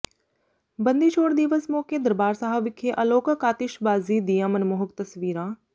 ਬੰਦੀ ਛੋੜ ਦਿਵਸ ਮੌਕੇ ਦਰਬਾਰ ਸਾਹਿਬ ਵਿਖੇ ਅਲੌਕਿਕ ਆਤਿਸ਼ਬਾਜ਼ੀ ਦੀਆਂ ਮਨਮੋਹਕ ਤਸਵੀਰਾਂ